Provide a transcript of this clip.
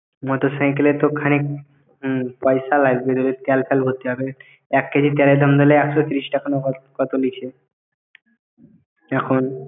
motorcycle এ তো খানিক পয়সা লাগবে তেল ফেল ভরতে হবে এক KG তেলের দাম একশো তিরিশ টাকা না কত লিচে এখন